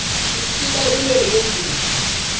tisisita ukuneni kwemvula